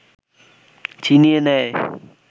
ছিনিয়ে নেয়